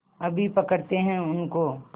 अभी पकड़ते हैं उनको